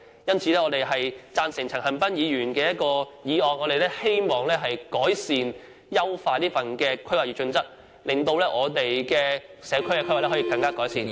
因此，我們贊成陳恒鑌議員的議案，希望改善和優化《規劃標準》，令我們的社區規劃......